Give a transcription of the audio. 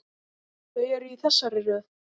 Þau eru í þessari röð